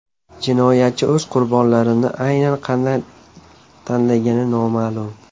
Jinoyatchi o‘z qurbonlarini aynan qanday tanlagani noma’lum.